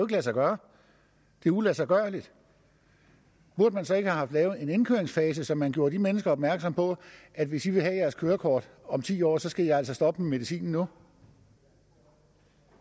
lade sig gøre det er uladsiggørligt burde man så ikke have haft lavet en indkøringsfase så man gjorde de mennesker opmærksom på at hvis de vil have deres kørekort om ti år så skal de altså stoppe med medicinen nu